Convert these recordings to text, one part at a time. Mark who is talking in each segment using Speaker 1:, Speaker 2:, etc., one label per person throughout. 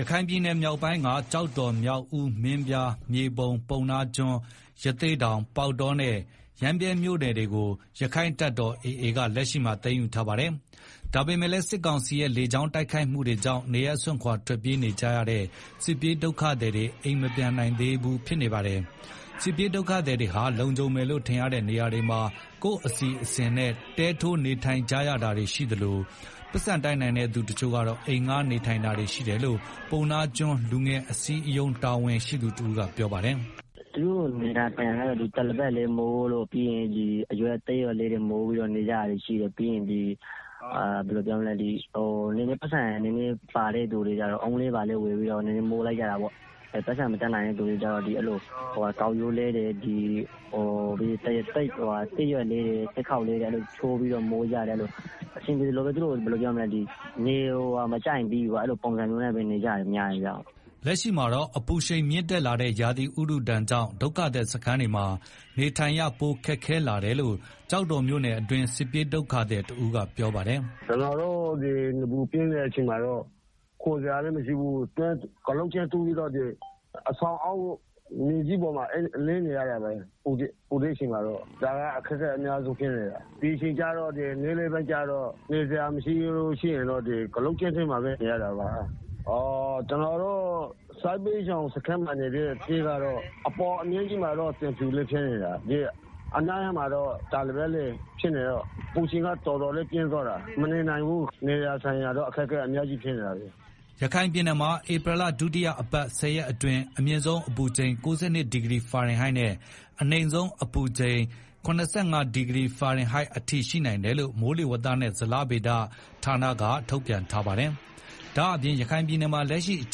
Speaker 1: ရခိုင်ပြည်နယ် မြောက်ပိုင်းက ကျောက်တော် မြောက်ဦး မင်းပြား မြေပုံ ပုဏ္ဏားကျွန်း ရသေ့တောင် ပေါက်တောနဲ့ ရမ်းဗြဲ မြို့နယ်တွေ ရက္ခိုင့်တပ်တော်AAက လက်ရှိမှာ သိမ်းယူထားတာပါ။ ဒါပေမယ့်လည်း စစ်ကောင်စီရဲ့ လေကြောင်းတိုက်ခိုက်မှုတွေကြောင့် နေရပ်စွန့်ခွာထွက်ပြေးနေကြတဲ့ စစ်ပြေးဒုက္ခသည်တွေ အိမ်မပြန်နိုင်သေးပါဘူး။ စစ်ပြေးဒုက္ခသည်တွေဟာ လုံခြုံမယ်လို့ထင်ရတဲ့ နေရာတွေမှာ ကိုယ့်အစီအစဉ်နဲ့ တဲထိုးနေထိုင်ကြတာတွေရှိသလို၊ ပိုက်ဆံတတ်နိုင်တဲ့ သူတချို့ကတော့ အိမ်ငှားနေထိုင်တာတွေရှိတယ်လို့ ပုဏ္ဏားကျွန်းလူငယ်အစည်းအရုံး တာဝန်ရှိသူတဦး ကပြောပါတယ်။
Speaker 2: “ သူတို့နေကြတာကတော့ တပေါ်လိပ်တွေမိုး၊သစ်ရွက်တွေ မိုးပြီးတော့ နေကြတာရှိ တယ်ပြီးရင် ဘယ်လိုပြောမလဲ ပိုက်ဆံရှိတဲ့သူတွေကလည်း ဓနိတွေဘာတွေ မိုးပြီးတော့ နေကြတယ်၊ ပိုက်ဆံမတတ်နိုင်တဲ့သူတွေကျတော့ ကောက်ရိုးတွေမိုးတယ်၊ သစ်ကိုင်းတွေ ချိုးပြီးတော့ မိုးကြတယ်အဆင်ပြေသလိုပေါ့။ သူတို့နေမကျရင်ပြီးရောအဲလိုပုံစံနဲ့ နေကြရ တာများတယ်။
Speaker 1: ” လက်ရှိမှာ အပူရှိန်မြင့်တက်လာတဲ့ ရာသီဥတုဒဏ်ကြောင့် ဒုက္ခသည်စခန်းတွေမှာ နေထိုင်ရ ပိုခက်ခဲလာတယ်လို့ ကျောက်တော်မြို့နယ်တွင်း စစ်ပြေးဒုက္ခသည်တဦးက ပြောပါတယ်။
Speaker 3: “ ကျနော်တို့ နေပူပြင်းတဲ့ အချိန်မှာတော့ ခိုစရာလည်းမရှိဘူး အဆောင်အောက်မှာ ကျင်းတူးပြီးတော့ မြေကြီးပေါ်မှာ လှဲနေရတာပဲ၊ပူတဲ့အချိန်မှာ ဒါကအတော်အခက် အခဲရှိတယ်၊ နေ့လည်ပိုင်းတွေမှာ နေစရာမရှိတော့ ကျင်းထဲမှာပဲ နေရတာပါ။ ကျနော်တို့ စစ်ဘေးရှောင်စခန်းမှာ ရှိတဲ့ တဲတွေကတော့ အပေါ်က သံဖြူနဲ့ တာပေါ်လိပ်ဆိုတော့ အပူချိန်က တော်တော်လေးပြင်းတယ်၊ မနေနိုင်ဘူး နေဖို့ထိုင်ဖို့ အတော်အခက်အခဲဖြစ်နေတယ်။”
Speaker 1: ရခိုင်ပြည်နယ်မှာ ဧပြီလ ဒုတိယအပတ် ၁ဝရက်အတွင်း အမြင့်ဆုံးအပူချိန် ၉၂ဒီဂရီဖာရင် ဟိုက်နဲ့ အနိမ့်ဆုံးအပူချိန် ၇၅ဒီဂရီဖာရင်ဟိုက်အထိရှိနိုင်တယ်လို့ မိုးလေဝသနဲ့ ဇလဗေဒညွန်ကြားမှု ဦးစီးဌာနက ထုတ်ပြန်ထားပါတယ်။ ဒါ့အပြင် ရခိုင်ပြည်နယ်မှာလက်ရှိအ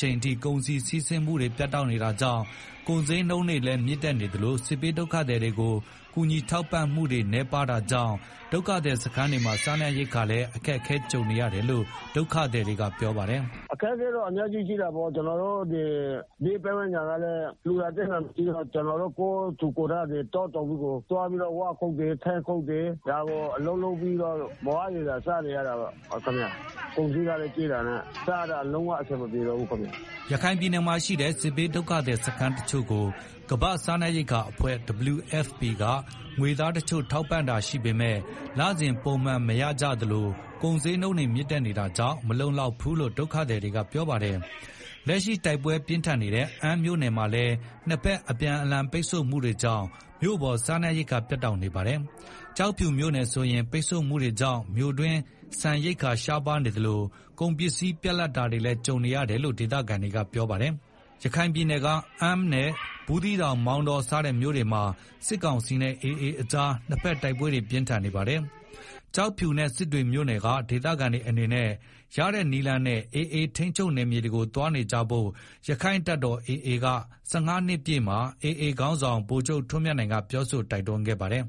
Speaker 1: ချိန်ထိ ကုန်စည်စီးဆင်းမှုတွေပြတ်တောက်နေတာကြောင့် ကုန်စျေးနှုန်းတွေလည်းမြင့်တက်နေသလို စစ်ဘေးဒုက္ခသည်တွေကို ကူညီထောက်ပံ့မှု တွေနည်းပါးတာကြောင့် ဒုက္ခသည်တွေစခန်းတွေမှာ စားနပ်ရိက္ခာတွေလည်း အခက်ကြုံနေ ရတယ်လို့ ဒုက္ခသည်က ပြောပါတယ်။
Speaker 3: “ အခက်အခဲတော့ အများကြီးရှိတာပေါ့ ကျနော်တို့ ဘေးပတ်ဝန်းကျင်ကလည်း လှူတာတန်းတာလည်းမရှိဘူး၊ ကျနော်တို့ ကိုယ်ထူကိုယ်ထ တောတောင်းတွေကို သွားပြီးတော့ ဝါးခုတ်တယ် ထင်းခုတ်တယ်၊ ဒီလို အလုပ်လုပ်ပြီးတော့ မလောက်မငှစားနေရတယ်၊ ကုန်စျေးကလည်း ကြီးတာနဲ့ စားရတာ လုံးဝအဆင်မပြေပါဘူးခင်ဗျာ
Speaker 1: ။” ရခိုင်ပြည်နယ်မှာ ရှိတဲ့ စစ်ဘေးဒုက္ခသည်စခန်းတချို့ကို ကမ္ဘာ့စားနပ်ရိက္ခာအဖွဲ့ WFP က ငွေသားတချို့ ထောက်ပံ့တာတချို့ရှိပေမယ့် လစဉ်ပုံမှန်မရရှိကြသလို ကုန်စျေးနှုန်းတွေ မြင့်တက်နေတာကြောင့် မလုံလောက်ဘူးလို့ ဒုက္ခသည်တွေက ပြောဆိုကြပါတယ်။ လက်ရှိတို်က်ပွဲပြင်းထန်နေတဲ့ အမ်းမြို့နယ်မှာလည်း နှစ်ဘက်အပြန်အ လှန်ပိတ်ဆို့မှုတွေကြောင့် မြို့ပေါ် စားနပ်ရိက္ခာပြတ်တောက်နေပါတယ်။ ကျောက်ဖြူမြို့ နယ်ဆိုရင်လည်း ပိတ်ဆို့မှုတွေကြောင့် မြို့တွင်း ဆန်ရိက္ခာရှားပါးနေသလို ကုန်ပစ္စည်းပြတ်လပ်တာတွေလည်း ကြုံနေတယ်လို့ ဒေသခံတွေက ပြောဆိုကြပါတယ်။ ရခိုင်ပြည်နယ်က အမ်းနဲ့ ဘူးသီးတောင် မောင်တော စတဲ့မြို့နယ်တွေမှာ စစ်ကောင်စီနဲ့ AAကြား နှစ်ဘက်တို်က်ပွဲပြင်းထန်နေပါတယ်။ ကျောက်ဖြူနဲ့ စစ်တွေမြို့နယ်က ဒေသခံတွေအနေနဲ့ ရတဲ့နည်းလမ်းနဲ့AAထိန်းချုပ်နယ်မြေတွေကိုသွားနေကြဖို့ ရက္ခိုင့်တပ်တော်AA ၁၅နှစ်ပြည့်မှာ AA ခေါင်းဆောင် ဗိုလ်ချုပ်ထွန်းမြတ်နိုင်က ပြောဆိုတိုက်တွန်းခဲ့ပါတယ်။